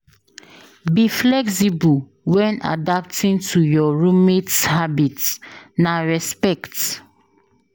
Be flexible when adapting to your roommate’s habits; na respect.